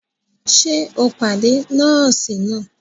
Ṣe o pàdé nọọsi nàá?